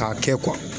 K'a kɛ